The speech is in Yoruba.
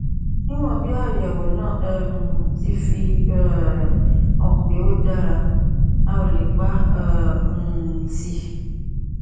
níwọn bí àyẹwò náà um ti fi um hàn pé ó dára a ò lè pa á um tì